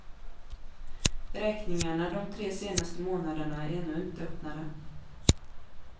Räkningarna de tre senaste månaderna är ännu inte öppnade.